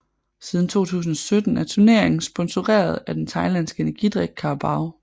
Siden 2017 er turneringen sponseret af den thailandske energidrik Carabao